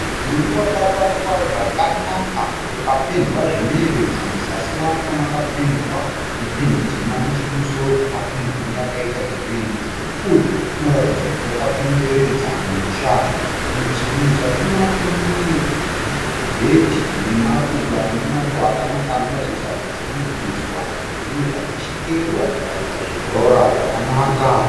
Mudhuri wakavakwa zvakanaka ukapendwa zvinoyevedza muzasi macho makapendwa nependi tema, nechekumusoro kwacho kukapendwa neyakaita gireyi, mudhuri uyu unoratidza kuti wakakomberedza musha, muzasi macho mune bhedhi remaruva rine maruva akanaka anoratidza kuti anodiridzwa nezvimwe zvakachekererwa zvikaita zvibhora zvakanaka.